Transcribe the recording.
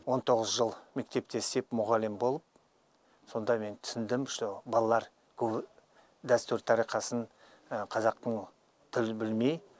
он тоғыз жыл мектепте істеп мұғалім болып сонда мен түсіндім что балалар көбі дәстүр тарих қазақтың тілін білмей